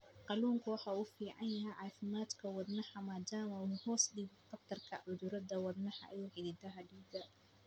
Kalluunku waxa uu u fiican yahay caafimaadka wadnaha maadaama uu hoos u dhigo khatarta cudurrada wadnaha iyo xididdada dhiigga.